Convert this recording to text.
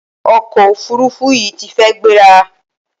Ọkọ òfurufú yìí ti fi gbéra.